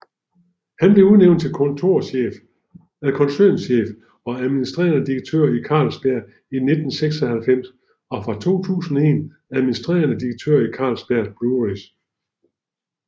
Han blev udnævnt til koncernchef og administrerende direktør i Carlsberg i 1996 og fra 2001 administrerende direktør i Carlsberg Breweries